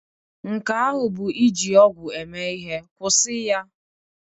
Nke ahụ bụ iji ọgwụ eme ihe. Kwụsị ya!